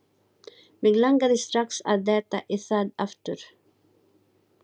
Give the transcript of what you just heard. Mig langaði strax að detta í það aftur.